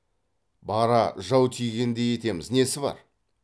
бара жау тигендей етеміз несі бар